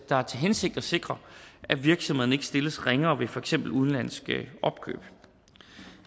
har til hensigt at sikre at virksomhederne ikke stilles ringere ved for eksempel udenlandsk opkøb